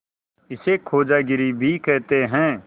इसे खोजागिरी भी कहते हैं